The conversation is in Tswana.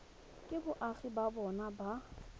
ke boagi ba bona ba